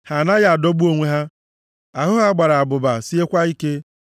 Ha anaghị adọgbu onwe ha; ahụ ha gbara abụba, siekwa ike.